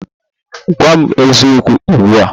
Gwa m eziokwu ugbu a!